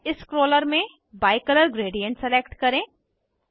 type scroller में bicolour gradient select करें